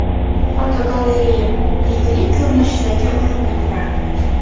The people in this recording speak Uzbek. Fotogalereya: Yegulik ko‘rinishidagi o‘rindiqlar.